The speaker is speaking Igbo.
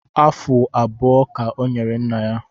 Afụ abụọ ka ọ nyere nna ya